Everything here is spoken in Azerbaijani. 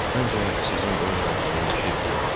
Məncə, sizin Qoriya atanın işi fırıxdı.